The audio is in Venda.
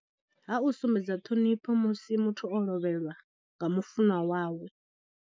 Ha u sumbedza ṱhonifho musi muthu o lovheliwa nga mufunwa wawe.